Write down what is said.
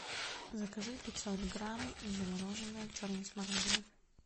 закажи пятьсот грамм замороженной черной смородины